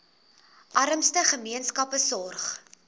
armste gemeenskappe sorg